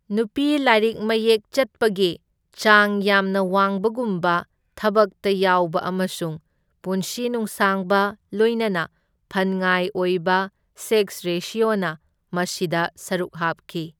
ꯅꯨꯄꯤ ꯂꯥꯏꯔꯤꯛ ꯃꯌꯦꯛ ꯆꯠꯄꯒꯤ ꯆꯥꯡ ꯌꯥꯝꯅ ꯋꯥꯡꯕꯒꯨꯝꯕ, ꯊꯕꯛꯇ ꯌꯥꯎꯕ ꯑꯃꯁꯨꯡ ꯄꯨꯟꯁꯤ ꯅꯨꯡꯁꯥꯡꯕ, ꯂꯣꯏꯅꯅ ꯐꯟꯉꯥꯏ ꯑꯣꯏꯕ ꯁꯦꯛꯁ ꯔꯦꯁꯤꯑꯣꯅ ꯃꯁꯤꯗ ꯁꯔꯨꯛ ꯍꯥꯞꯈꯤ꯫